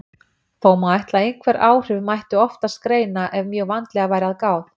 Þó má ætla að einhver áhrif mætti oftast greina ef mjög vandlega væri að gáð.